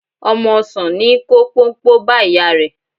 Ọmọ ọsàn ní í kó póńpó bá ìyá rẹ̀.